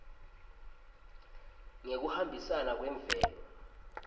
ngekuhambisana kwemvelo